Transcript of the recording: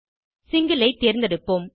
single ஐ தேர்ந்தெடுப்போம்